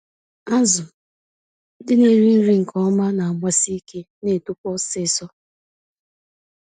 Azụ ndị na-eri nri nke ọma nagbasi ike, na netokwa ọsịsọ.